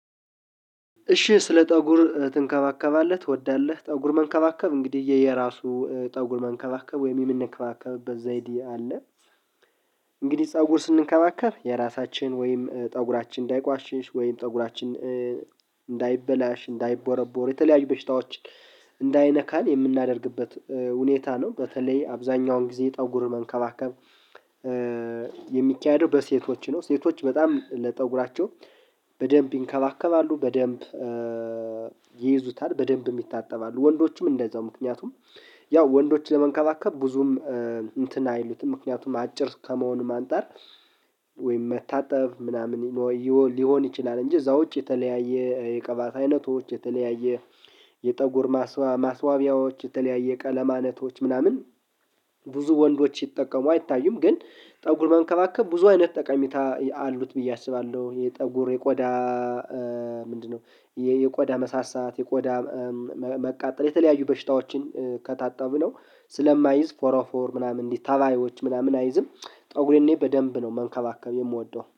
እሺ ስለ ፀጉር ትንከባከባለህ ትወዳለህ? ፀጉር መንከባከብ እንግዲህ የየራሱ ፀጉር መንከባከብ ወይም የምንከባከብበት ዘይዴ አለ። እንግዲህ ጠጉር ስንከባከብ የራሳችን ወይም ፀጉራችን እንዳይቋሽሽ ወይም ፀጉራችን እንዳይበላሽ እንዳይቦረቦር የተለያዩ በሽታዎች እንዳይነካን የምናደርግበት ሁኔታ ነው። በተለይ አብዛኛውን ጊዜ ጠጉር መንከባከብ የሚካሄደው በሴቶች ነው። ሴቶች በጣም ለጠጉራቸው በደንብ ይንከባከባሉ በደንብ ይይዙታል በደንብም ይታጠባሉ። ወንዶችም እንደዛው ምክንያቱም ያው ወንዶችን ለመንከባከብ ብዙም እንትን አይሉትም ምክንያቱም አጭር ከመሆኑ አንፃር ወይም መታጠብ ምናምን ሊሆን ይችላል። እንጂ እዛ ውጪ የተለያየ የቀባት አይነቶች የተለያየ የጠጉር ማስዋቢያዎች የተለያየ ቀለማነቶች ምናምን ብዙ ወንዶች ሲጠቀሙ አይታዩም ግን ጠጉር መንከባከብ ብዙ አይነት ጠቀሚታ አሉት ብዬ አስባለሁ። የጠጉር የቆዳ ምንድነው? የቆዳ መሳሳት የቆዳ መቃጠል የተለያዩ በሽታዎችን ከታጠብነው ስለማይዝ ፎርፎር ምናምን እንዲህ ታባዮች ምናምን አይዝም። ጠጉሬኔ በደንብ ነው መንከባከብ የምወደው